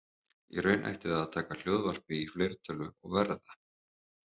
Í raun ætti það að taka hljóðvarpi í fleirtölu og verða